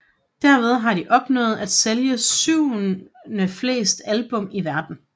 Derved har de opnået at sælge syvendeflest album i verdenen